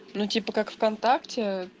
ну типа как вконтакте